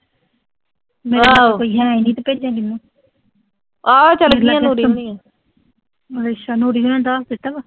ਕੋਈ ਹੈ ਨੀਂ ਅੱਛਾ ਦਿੱਤਾ ਵਾ।